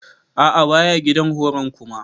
A'a baya gidan horon kuma.